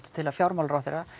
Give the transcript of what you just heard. til að fjármálaráðherra